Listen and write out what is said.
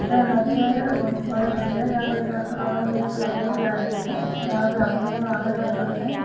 ये नदी है यह बहोत बड़ा नदी है जहां पर जस्ट बगल में एक रोड जा रहेय है जहां से आदमी मन आना जाना करथे ।